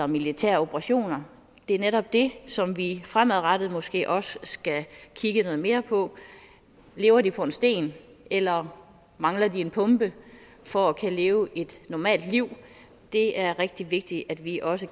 militære operationer det er netop det som vi fremadrettet måske også skal kigge noget mere på lever de på en sten eller mangler de en pumpe for at kunne leve et normalt liv det er rigtig vigtigt at vi også